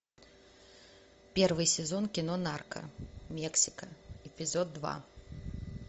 первый сезон кино нарко мексика эпизод два